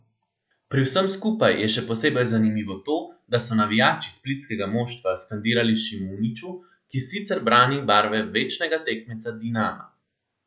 Pri vsem skupaj je še posebej zanimivo to, da so navijači splitskega moštva skandirali Šimuniću, ki sicer brani barve večnega tekmeca Dinama.